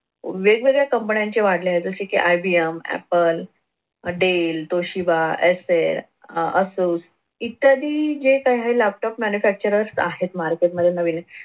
वेगवेगळ्या कंपनीचे वाढलेले आहे जसे कि IVMapple dell Acer Asus इत्यादी जे काही laptop manufacturers आहे market मध्ये नवीन